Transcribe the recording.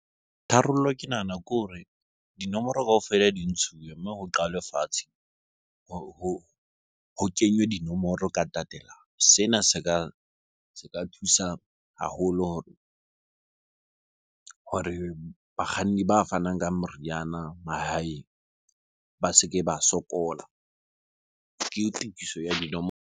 Tharollo ke nahana ke hore dinomoro kaofela di ntshuwe mme ho qalwe fatshe, ho kenywe dinomoro ka tatelano. Sena se ka thusa haholo hore bakganni ba fanang ka moriana mahaeng ba se ke ba sokola. Ke tokiso ya dinomoro.